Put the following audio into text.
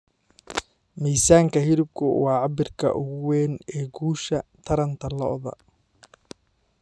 Miisaanka hilibku waa cabbirka ugu weyn ee guusha taranta lo'da.